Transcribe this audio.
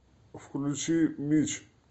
включи митч